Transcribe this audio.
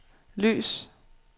lys